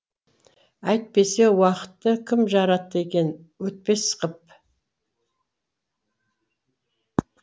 әйтпесе уақытты кім жаратты екен өтпес қып